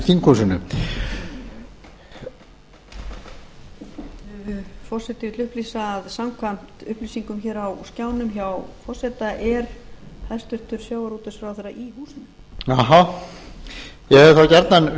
þinghúsinu forseti vill upplýsa að samkvæmt upplýsingum hér á skjánum hjá forseta er hæstvirtur sjávarútvegsráðherra í húsinu ég hefði þá gjarnan